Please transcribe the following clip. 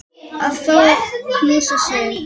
Að fá að knúsa þig.